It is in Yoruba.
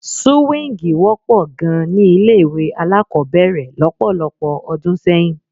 Súwíǹgì wọ́pọ̀ gan-an ni ilé-ìwé alákọ̀ọ́bẹ̀rẹ̀ lọ́pọ̀lọpọ̀ ọdún sẹ́yìn.